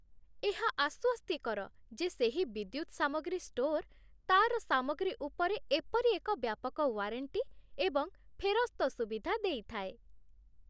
ଏହା ଆଶ୍ୱସ୍ତିକର ଯେ ସେହି ବିଦ୍ୟୁତ୍ ସାମଗ୍ରୀ ଷ୍ଟୋର୍ ତା'ର ସାମଗ୍ରୀ ଉପରେ ଏପରି ଏକ ବ୍ୟାପକ ୱାରେଣ୍ଟି ଏବଂ ଫେରସ୍ତ ସୁବିଧା ଦେଇଥାଏ